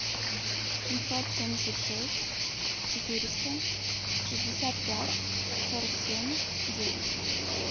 семьсот семьдесят шесть четыреста шестьдесят пять сорок семь девять